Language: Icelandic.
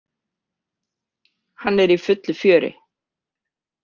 Hann er í fullu fjöri.